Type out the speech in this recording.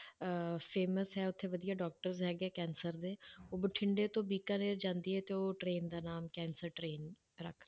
ਅਹ famous ਹੈ ਉੱਥੇ ਵਧੀਆ doctors ਹੈਗੇ ਆ ਕੈਂਸਰ ਦੇ, ਉਹ ਬਠਿੰਡੇ ਤੋਂ ਬੀਕਾਨੇਰ ਜਾਂਦੀ ਹੈ ਤੇ ਉਹ train ਦਾ ਨਾਮ ਕੈਂਸਰ train ਰੱਖ